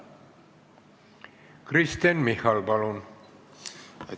Kristen Michal, palun!